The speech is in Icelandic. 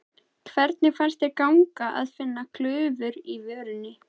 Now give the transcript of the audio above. Hvernig fannst þér ganga að finna glufur á vörninni?